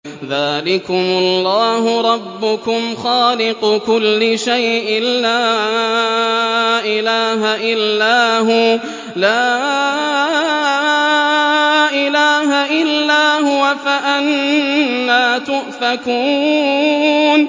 ذَٰلِكُمُ اللَّهُ رَبُّكُمْ خَالِقُ كُلِّ شَيْءٍ لَّا إِلَٰهَ إِلَّا هُوَ ۖ فَأَنَّىٰ تُؤْفَكُونَ